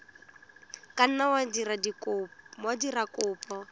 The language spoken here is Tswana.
ka nna wa dira kopo